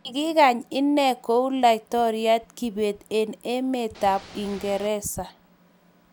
Kiginay inne ku laitoriat Kibet eng emetab Uingereza